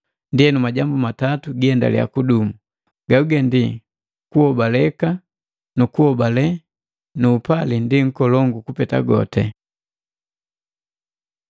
Ndienu, majambu matatu giendaliya kudumu, kuobaleka na kuobale na upali nu upali ndi nkolongu kupeta goti.